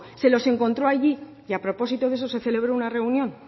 se los encontró allí y a propósito de eso se celebró una reunión